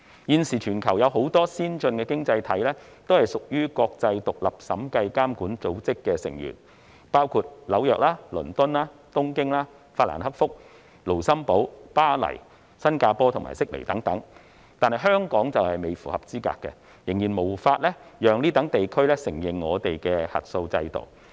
現時全球有很多先進經濟體均屬於國際獨立審計監管組織的成員，包括紐約、倫敦、東京、法蘭克福、盧森堡丶巴黎、新加坡及悉尼等，但香港仍未符合資格，仍然無法令該等地區承認我們的核數制度。